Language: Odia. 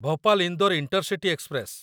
Bhopal Indore intercity express